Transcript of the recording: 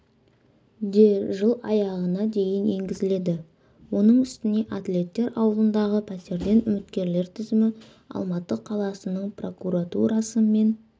де жыл аяғына дейін енгізіледі оның үстіне атлеттер ауылындағы пәтерден үміткерлер тізімі алматы қаласының прокуратурасымен